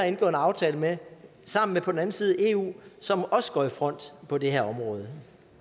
en aftale med sammen med på den anden side eu som også går i front på det her område